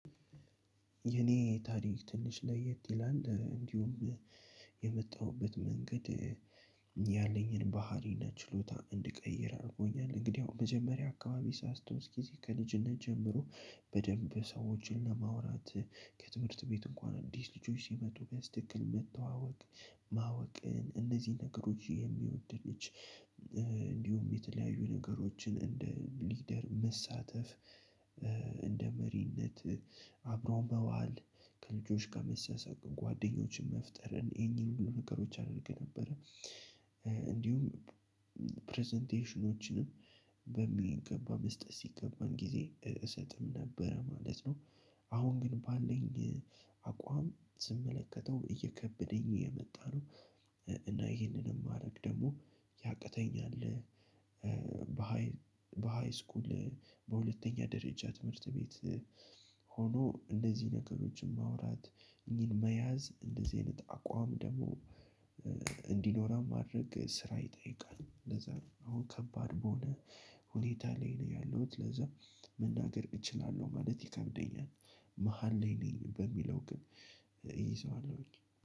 የኔ ታሪክ ትንሽ ለየት ይላል እንዲሁም የመጣሁበት መንገድ። ባህሪና ችሎታ እንድቀይር አድርጎኛል እንግዲያው መጀመሪያ አካባቢ ሳስታውስ ጊዜ ከልጅነት ጀምሮ በደንብ ሰዎችን ለማውራት ከትምህርት ቤት እንኳን አዲስ ልጆች ሲመጡ በስትክክል መተዋወቅ ማወቅን እነዚህ ነገሮች የሚወድ ልጅ። እንዲሁም የተለያዩ ነገሮችን እንደ ሊደር መሳተፍ። እንደ መሪነት አብሮ መዋል ከልጆች ጋር መሳሳቅ ጓደኞችን መፍጠር እኚን እኚን ነገሮች አደርግ ነበር። እንዲሁም ፕረዘንቴሽኖችንም በሚገባ መስጠት ሲገባን ጊዜ እልሰጥም ነበረ ማለት ነው። አሁን ግን ባለኝ አቋም ስመለከተው እየከበደኝ እየመጣ ነው። እና ይሄንንም ማድረግ ደግሞ ያቅተኛል። በሃይስኩል በሁለተኛ ደረጃ ትምህርት ቤት። ሆኖ እንደዚህ ነገሮችን ማውራት እኚህን መያዝ እንደዚህ አይነት አቋም ደግሞ እንዲኖራም ማድረግ ስራ ይጠይቃል። ለዛ ነው አሁን ከባድ በሆነ ሁኔታ ላይ ነው ያለሁት ለዛ መናገር እችላለሁ ማለት ይከብደኛል። መሃል ላይ ነኝ በሚለው ግን እይዘዋለሁኝ